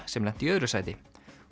sem lenti í öðru sæti